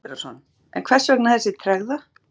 Sindri Sindrason: En hvers vegna þessi tregða?